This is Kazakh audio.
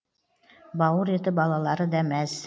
бауыр еті балалары да мәз